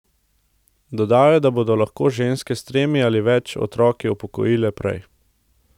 Dodal je, da se bodo lahko ženske s tremi ali več otroki upokojile prej.